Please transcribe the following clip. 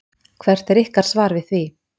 Hvert er ykkar svar við því?